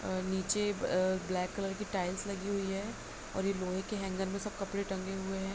और नीचे a black colour की टाइल्स लगी हुई है और ये लोहे के हैंगर में सब कपड़े टंगे हुए हैं।